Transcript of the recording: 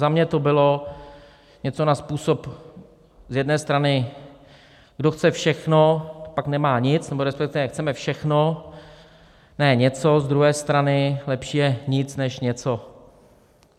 Za mě to bylo něco na způsob z jedné strany "kdo chce všechno, pak nemá nic", nebo respektive "chceme všechno, ne něco", z druhé strany "lepší je nic než něco".